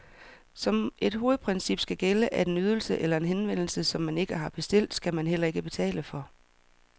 Som et hovedprincip skal gælde, at en ydelse eller en henvendelse, som man ikke har bestilt, skal man heller ikke betale for.